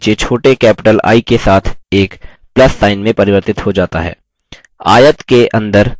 अब cursor इसके नीचे छोटे capital i के साथ एक plus sign में परिवर्तित हो जाता है